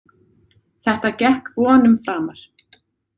Þetta gekk vonum framar.